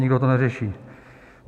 Nikdo to neřeší.